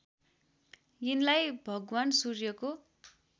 यिनलाई भगवान् सूर्यको